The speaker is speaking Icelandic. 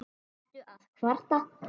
Ertu að kvarta?